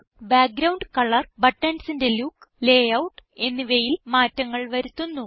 background colour ബട്ടൺസിന്റെ look layout എന്നിവയിൽ മാറ്റങ്ങൾ വരുത്തുന്നു